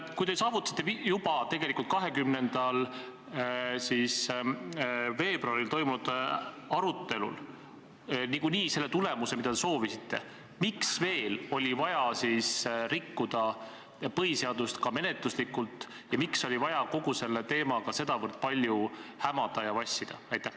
Kui te saavutasite juba 20. veebruaril toimunud arutelul niikuinii tulemuse, mida te soovisite, siis miks oli vaja rikkuda põhiseadust ka menetluslikult ja miks oli vaja kogu selle teemaga sedavõrd palju hämada ja vassida?